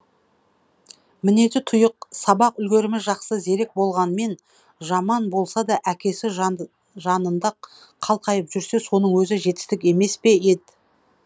мінезі тұйық сабақ үлгерімі жақсы зерек болғанмен жаман болсада әкесі жанында қалқайып жүрсе соның өзі жетістік емеспе ед